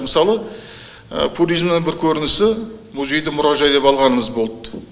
мысалы пуризмнің бір көрінісі музейді мұражай деп алғанымыз болды